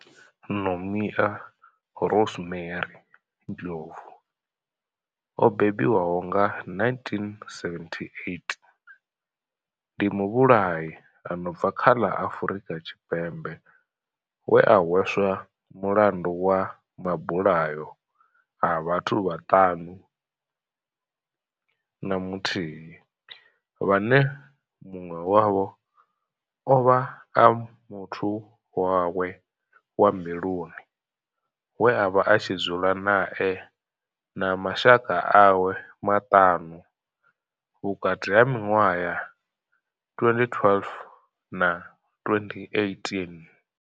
Nomia Rosemary Ndlovu o bebiwaho nga 1978 ndi muvhulahi a no bva kha ḽa Afurika Tshipembe we a hweswa mulandu wa mabulayo a vhathu vhaṱanu na muthihi vhane munwe wavho ovha a muthu wawe wa mbiluni we avha a tshi dzula nae na mashaka awe maṱanu vhukati ha minwaha ya 2012 na 2018.